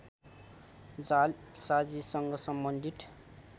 जालसाजीसँग सम्बन्धित